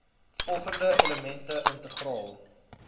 volgende elemente integraal